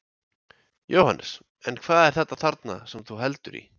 Jóhannes: En hvað er þetta þarna sem þú heldur í?